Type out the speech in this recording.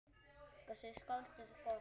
Hvað segir skáldið gott?